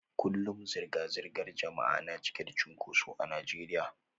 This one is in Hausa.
Kullum zirga-zirgar jama'a na cike da cunkoso a Najeriya